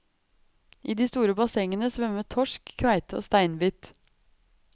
I de store bassengene svømmer torsk, kveite og steinbit.